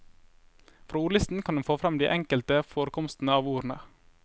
Fra ordlisten kan en få frem de enkelte forekomstene av ordene.